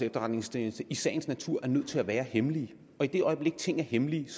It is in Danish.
efterretningstjeneste i sagens natur er nødt til at være hemmelige og i det øjeblik ting er hemmelige